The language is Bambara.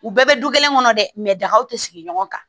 U bɛɛ bɛ du kelen kɔnɔ dɛ dagaw tɛ sigi ɲɔgɔn kan